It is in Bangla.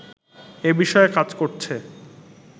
এ বিষয়ে কাজ করছে